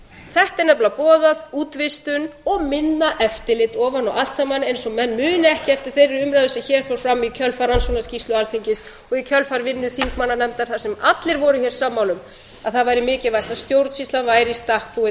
þetta er nefnilega boðað útvistun og minna eftirlit ofan á allt saman eins og menn muni ekki eftir þeirri umræðu sem hér fór fram í kjölfar rannsóknarskýrslu alþingis og í kjölfar vinnu þingmannanefndar þar sem allir voru hér sammála um að það væri mikilvægt að stjórnsýslan væri í stakk búin